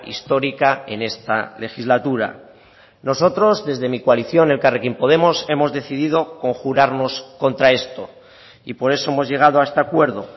histórica en esta legislatura nosotros desde mi coalición elkarrekin podemos hemos decidido conjurarnos contra esto y por eso hemos llegado a este acuerdo